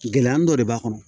Gɛlɛya dɔ de b'a kɔnɔ